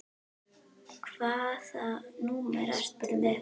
Hvaða númer ertu með?